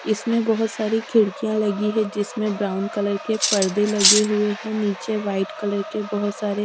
इसमें बहुत सारी खिड़कियां लगी है जिसमें ब्राउन कलर के पर्दे लगे हुए हैं नीचे व्हाइट कलर के बहुत सारे।